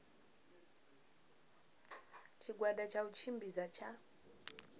tshigwada tsha u tshimbidza tsha